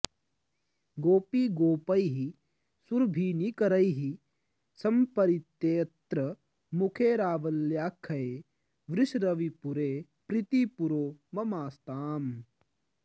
गोपीगोपैः सुरभीनिकरैः सम्परीतेऽत्र मुखे रावल्याख्ये वृषरविपुरे प्रीतिपूरो ममास्ताम्